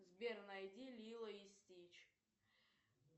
сбер найди лило и стич